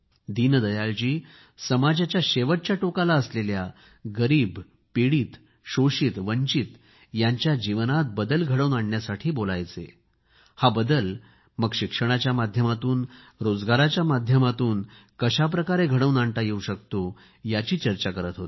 दीनदयाळजी ही समाजाच्या शेवटच्या टोकाला असलेल्या गरीब पीडित शोषित वंचित यांच्या जीवनात बदल घडवून आणण्यासाठी बोलायचे हा बदल मग शिक्षणाच्या माध्यमातून रोजगाराच्या माध्यमातून कशा प्रकारे परिवर्तन घडवून आणता येवू शकते याची चर्चा करीत होते